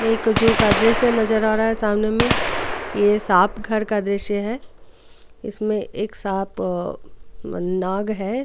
ये कजू का दृश्य नजर आ रहा है सामने में यह सांप घर का दृश्य है इसमें एक सांप नाग है.